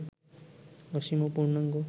অসীম ও পূর্ণাঙ্গ